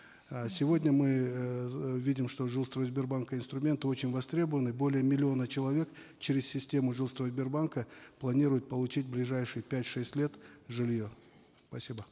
э сегодня мы эээ видим что жилстройсбербанка инструменты очень востребованы более миллиона человек через систему жилстройсбербанка планируют получить в ближайшие пять шесть лет жилье спасибо